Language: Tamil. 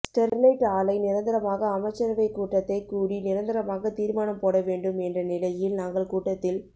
ஸ்டெர்லைட் ஆலை நிரந்தரமாக அமைச்சரவைக் கூட்டத்தை கூடி நிரந்தரமாக தீர்மானம் போட வேண்டும் என்ற நிலையில் நாங்கள் கூட்டத்தில்